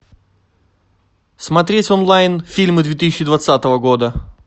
смотреть онлайн фильмы две тысячи двадцатого года